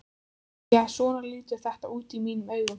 Því að svona lítur þetta út í mínum augum.